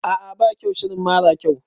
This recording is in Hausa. A'a ba kyau shirin mara kyau